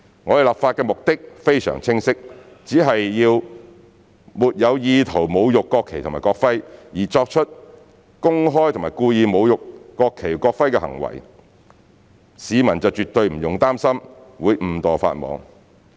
我們的立法目的非常清晰，只要沒有意圖侮辱國旗及國徽，而作出公開及故意侮辱國旗或國徽的行為，市民絕對不用擔心會誤墮法網。